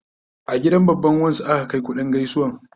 A gidan babban wan su aka Kai kuɗin gaisuwan